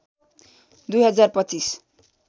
२ हजार २५